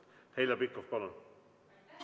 Heljo Pikhof, palun!